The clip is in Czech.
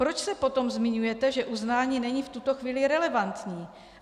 Proč se potom zmiňujete, že uznání není v tuto chvíli relevantní?